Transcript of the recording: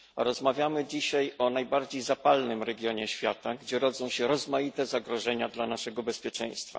Rozmawiamy dzisiaj o najbardziej zapalnym regionie świata, gdzie rodzą się rozmaite zagrożenia dla naszego bezpieczeństwa.